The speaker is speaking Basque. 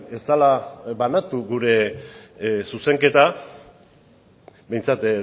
ez dela banatu gure zuzenketa behintzat